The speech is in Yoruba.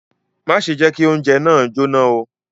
Má ṣe jẹ kí oúnjẹ náà jóná o!